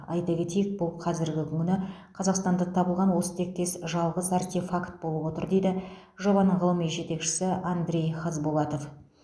айта кетейік бұл қазіргі күні қазақстанда табылған осы тектес жалғыз артефакт болып отыр дейді жобаның ғылыми жетекшісі андрей хазбулатов